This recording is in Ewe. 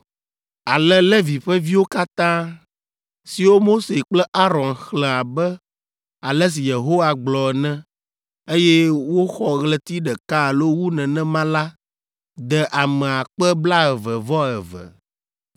Ale Levi ƒe viwo katã, siwo Mose kple Aron xlẽ abe ale si Yehowa gblɔ ene, eye woxɔ ɣleti ɖeka alo wu nenema la de ame akpe blaeve-vɔ-eve (22,000).